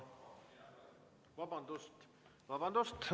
Vabandust!